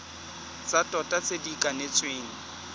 tsa tota tse di kanetsweng